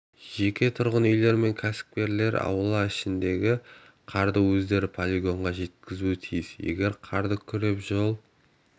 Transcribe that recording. жеке тұрғын үйлер мен кәсіпкерлер аула ішіндегі қарды өздері полигонға жеткізуі тиіс егер қарды күреп жол